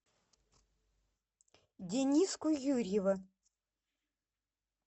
дениску юрьева